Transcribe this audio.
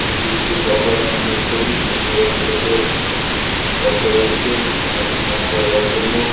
এটি একটি গঙ্গা স্নানের ছবি দূর দূরান্ত থেকে ভক্তরা এসছেন এখানে স্নান করার জন্য।